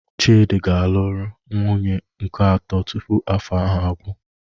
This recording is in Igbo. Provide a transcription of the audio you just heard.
Chidi ga-alụrụ nwunye nke atọ tupu afọ ahụ agwụ